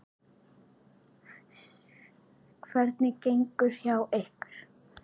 Sunna: Hvernig gengur hjá ykkur?